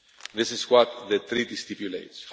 This is what the Treaty stipulates.